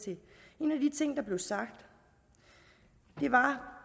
en af de ting der blev sagt var